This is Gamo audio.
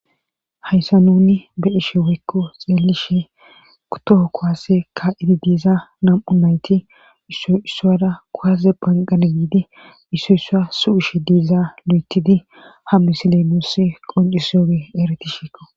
hayssa nuni be'ishe weykko xeelishe toho kowase kaa7idi diiza nam'u nayti issoissuwada kowase banqane giidi issu yssa su7ishe diiza lu7etidi ha misile nuussi qoncisiyoge ereti sheeko